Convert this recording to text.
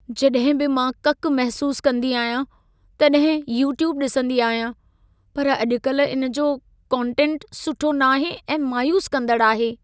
जॾहिं बि मां ककि महसूसु कंदी आहियां, तॾहिं यूट्यूबु ॾिसंदी आहियां। पर अॼु कल्ह इन जो कोंटेंट सुठो नाहे ऐं मायूस कंदड़ि आहे।